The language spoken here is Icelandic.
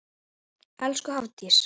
Elsku Hafdís.